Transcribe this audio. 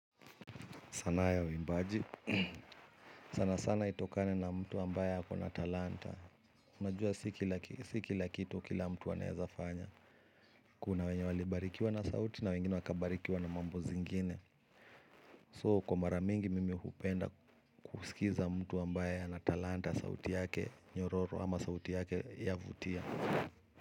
Sanaa ya uimbaji. Sana sana itokane na mtu ambaye ako na talanta. Unajua si kila kitu kila mtu anawezafanya. Kuna wenye walibarikiwa na sauti na wengine wakabarikiwa na mambo zingine. So kwa mara mingi mimi hupenda kusikiza mtu ambaye na talanta sauti yake nyororo ama sauti yake ya vutia.